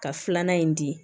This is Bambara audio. Ka filanan in di